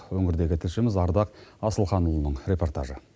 өңірдегі тілшіміз ардақ асылханұлының репортажы